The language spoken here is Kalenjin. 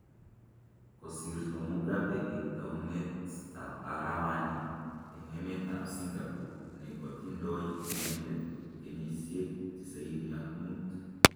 kosirto Mugabe eng taunet ab arawaani eng emet ab Sungapore ne kotindoi inendet kenyisyiek tisaini ak muut